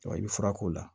I bɛ fura k'o la